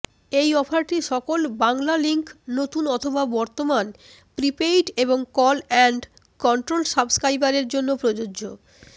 এই অফারটি সকল বাংলালিংক নতুন অথবা বর্তমান প্রিপেইড এবং কল অ্যান্ড কন্ট্রোল সাবস্ক্রাইবারের জন্য প্রযোজ্য